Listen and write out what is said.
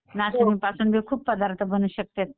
नाचणी पासून बी खूप पदार्थ बनू शकतेत.